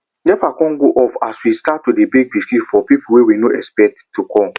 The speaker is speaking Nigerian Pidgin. nepa con go off as we start to dey bake biscuits for people wey we no expect to come